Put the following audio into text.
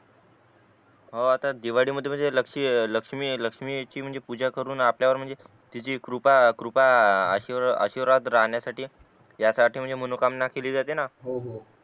ओ आता दिवाळी मध्ये म्हणजे लक्ष्मी लक्ष्मी ची पूजा करून आपल्यावर म्हणजे तिची कृपा कृपा आशीर्वाद राहण्यासाठी या साठी म्हणजे मनोकामना केली जाते ना हो हो